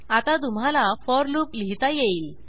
आता तुम्हाला for loop लिहीता येईल